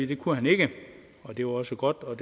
det kunne han ikke og det var også godt og